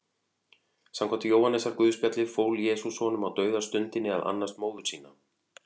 Samkvæmt Jóhannesarguðspjalli fól Jesús honum á dauðastundinni að annast móður sína.